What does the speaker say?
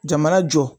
Jamana jɔ